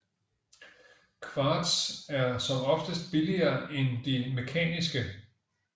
Kvarts er som oftest billigere end de mekaniske